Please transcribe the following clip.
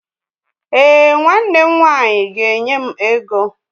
Èè, nwanne m nwanyị ga-enye m ego